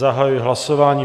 Zahajuji hlasování.